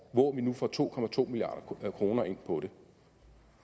hvor vi nu får to to milliard kroner ind på det